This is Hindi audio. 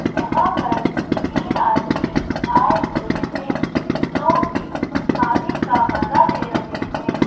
यहाँ पर तीन आदमी आए हुए हैं जोकि पानी का मजा ले रहे हैं।